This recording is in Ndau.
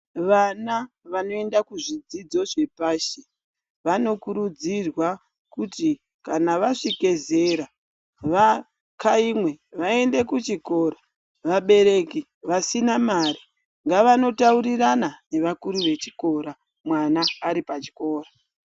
Vana vanoenda kuzvidzidzo zvepashi vanokurudzirwa kuti kana vasvika zera vakhaimwe vaende kuchikora vabereki vasina mare ngavandotaurirana nevakuru vechikora mwana aripachikora.